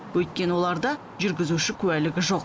өйткені оларда жүргізуші куәлігі жоқ